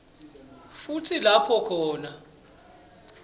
futsi lapho khona